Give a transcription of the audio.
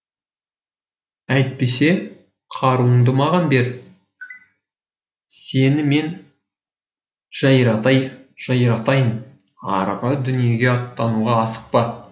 әйтпесе қаруыңды маған бер сені мен жайратайын арғы дүниеге аттануға асықпа